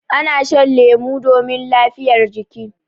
Ana shan lemu domin lafiyar jiki.